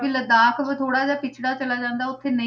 ਲਦਾਖ ਵੀ ਥੋੜ੍ਹਾ ਜਿਹਾ ਪਿੱਛੜਾ ਚੱਲਿਆ ਜਾਂਦਾ ਉੱਥੇ ਨਹੀਂ,